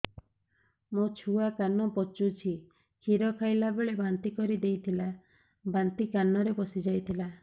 ମୋ ଛୁଆ କାନ ପଚୁଛି କ୍ଷୀର ଖାଇଲାବେଳେ ବାନ୍ତି କରି ଦେଇଥିଲା ବାନ୍ତି କାନରେ ପଶିଯାଇ ଥିଲା